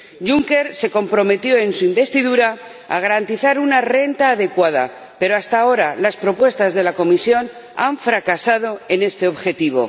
Juncker se comprometió en su investidura a garantizar una renta adecuada, pero hasta ahora las propuestas de la Comisión han fracasado en este objetivo.